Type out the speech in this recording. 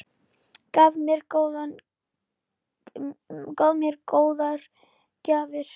Gaf mér góðar gjafir.